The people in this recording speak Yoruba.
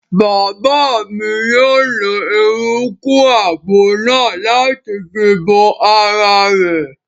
Bàbá mi yóò lo eruku àgbo náà láti fi bo ara rẹ̀